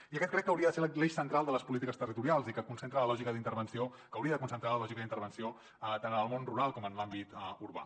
i aquest crec que hauria de ser l’eix central de les polítiques territorials i que hauria de concentrar la lògica d’intervenció tant en el món rural com en l’àmbit urbà